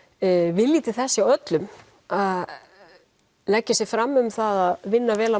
vilji til þess hjá öllum að leggja sig fram um að vinna vel að